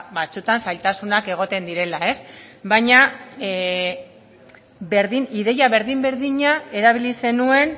ba batzuetan zailtasunak egoten direla ez baina ideia berdin berdina erabili zenuen